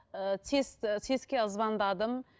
ыыы сэс сэс ке звондадым